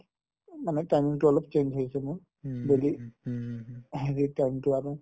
উম মানে time তো অলপ change হৈছে মোৰ daily হেৰিৰ time তো আৰু